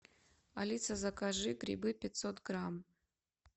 алиса закажи грибы пятьсот грамм